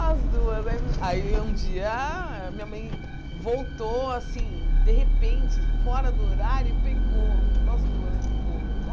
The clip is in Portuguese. As duas aí aí, um dia, minha mãe voltou, assim, de repente, fora do horário, e pegou nós duas no pulo.